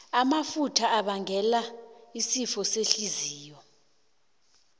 amafutha abangela isifo sehliziyo